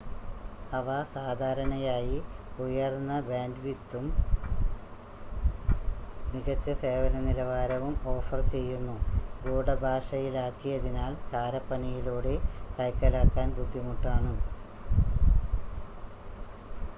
അവ സാധാരണയായി ഉയർന്ന ബാൻഡ്‌വിഡ്ത്തും മികച്ച സേവന നിലവാരവും ഓഫർ ചെയ്യുന്നു ഗൂഡഭാഷയിലാക്കിയതിനാൽ ചാരപ്പണിയിലൂടെ കൈക്കലാക്കാൻ ബുദ്ധിമുട്ടാണ്